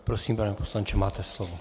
Prosím, pane poslanče, máte slovo.